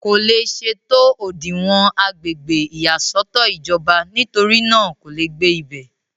kò le ṣe tó òdinwọ̀n agbègbè ìyàsọ́tọ̀ ìjọba nítorí náà kò le gbé ibẹ̀